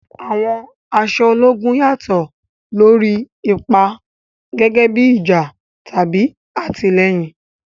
Àwọn aṣọ ológun yàtọ̀ lórí ipa, gẹ́gẹ́ bí ìjà tàbí àtìlẹ́yìn.